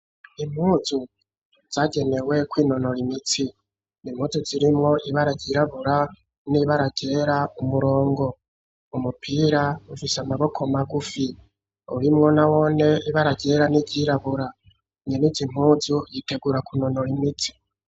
Impuzu zagenewe kw'nonora imitsi impuzu zirimo ibaragyirabura n'ibaragera umurongo umupira ufise amaboko magufi urimwo nawone ibaragera n'ibyirabura nyeneizi impuzu yitegura ku nonoro imitsi.